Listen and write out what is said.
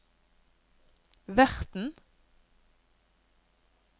verten